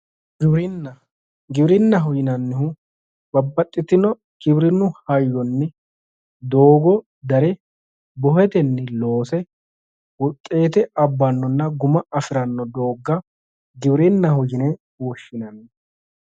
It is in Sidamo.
Giwirinna, giwirinnaho yinnannihu babbaxitinno giwirinu hayyo giddonni doogo darre bohetenni loose wuxete abbanonna guma afirano dooga giwirinnaho yinne woshshinanni.